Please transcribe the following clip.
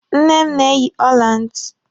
Nne m na-eyi ọla ntị.